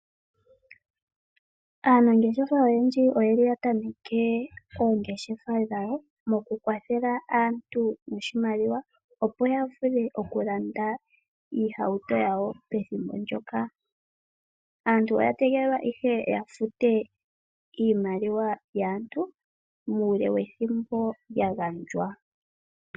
Aanangeshefa oyendji oyatameke oongeshefa dhoku kwathela aantu oshimaliwa opo ya vule okulanda iihauto yawo pethimbo ndyoka. Aantu oya tegelelwa yafute iimaliwa mbyoka ya pewa muule wethimbo lyagandjwa.